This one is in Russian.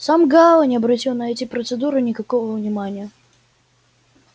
сам гаал не обратил на эти процедуры никакого внимания